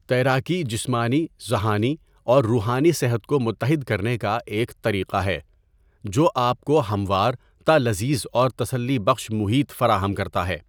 تیراکی جسمانی ذہانی اور روحانی صحت کو متحد کرنے کا ایک طریقہ ہے جو آپ کو ہموارتا لذیذ اور تسلی بخش محیط فراہم کرتا ہے.